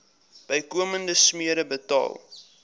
bykomende smere betaal